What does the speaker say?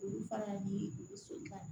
Olu fana bi u bɛ so ka